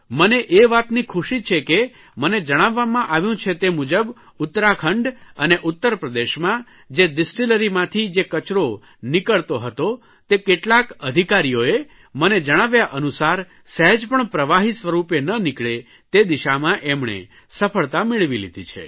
મને એ વાતની ખુશી છે કે મને જણાવવામાં આવ્યું છે તે મુજબ ઉત્તરાખંડ અને ઉત્તરપ્રદેશમાં જે ડીસ્ટીલરી માંથી જે કચરો નીકળતો હતો તે કેટલાક અધિકારીઓએ મને જણાવ્યા અનુસાર સ્હેજ પણ પ્રવાહી સ્વરૂપે ન નીકળે તે દિશામાં એમણે સફળતા મેળવી લીધી છે